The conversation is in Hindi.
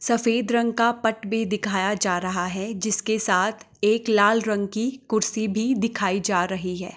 सफेद रंग का पट भी दिखाया जा रहा है जिसके साथ एक लाल रंग की कुर्सी भी दिखाई जा रही है।